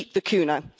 Keep the kuna.